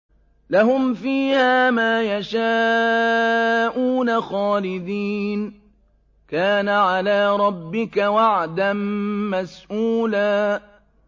لَّهُمْ فِيهَا مَا يَشَاءُونَ خَالِدِينَ ۚ كَانَ عَلَىٰ رَبِّكَ وَعْدًا مَّسْئُولًا